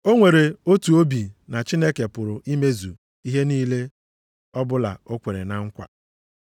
O nwere otu obi na Chineke pụrụ imezu ihe niile ọbụla o kwere na nkwa.